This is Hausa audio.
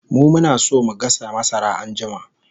mu Muna San mu gasa masara anjima